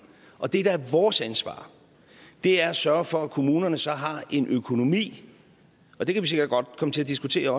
og det der er vores ansvar er at sørge for at kommunerne så har en økonomi og det kan vi sikkert også godt komme til at diskutere